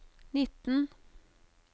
nitten